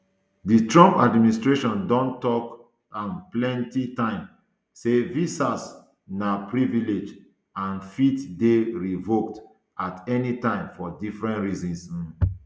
di trump administration don tok am plenti time say visas na privilege and fit dey revoked at any time for different reasons um